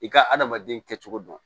I ka adamaden kɛcogo dɔn